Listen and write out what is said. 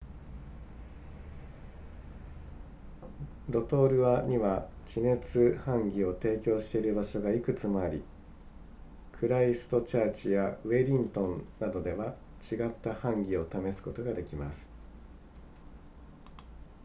ロトルアには地熱ハンギを提供している場所がいくつもありクライストチャーチやウェリントンなどでは違ったハンギを試すことができます